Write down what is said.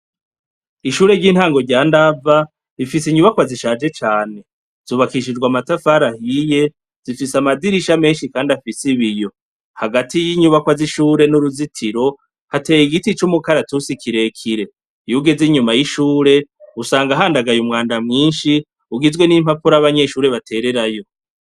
Ishure ry'intango rya ndava rifise inyubakwa zishaje cane zubakishijwa amatafaraahiye zifise amadirisha menshi, kandi afise ibiyo hagati y'inyubakwa z'ishure n'uruzitiro hateye igiti c'umukaratusi kirekire yuge ze inyuma y'ishure usanga ahandagaye umwanda mwinshi ugizwe n'impapuraabanye neshure batererayo.